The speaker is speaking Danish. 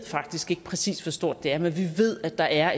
faktisk ikke præcis hvor stort det er men vi ved at der er